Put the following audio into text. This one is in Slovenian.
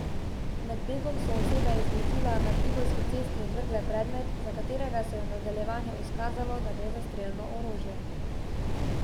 Med begom so osebe iz vozila na Tivolski cesti odvrgle predmet, za katerega se je v nadaljevanju izkazalo da gre za strelno orožje.